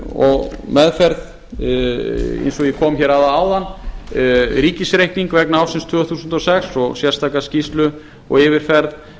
og meðferð eins og ég kom hér að áðan ríkisreikning vegna ársins tvö þúsund og sex og sérstaka skýrslu og yfirferð